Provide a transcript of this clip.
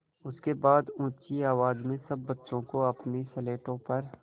उसके बाद ऊँची आवाज़ में सब बच्चों को अपनी स्लेटों पर